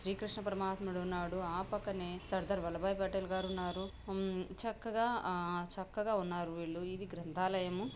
శ్రీ కృష్ణ పరమాత్మడు ఉన్నాడు ఆ పక్కనే సర్దార్ వల్లభాయి పటేల్ గారు ఉన్నారు చక్కగా ఆ చక్కగా ఉన్నారు వీళ్ళు ఇది గ్రంధాలయము.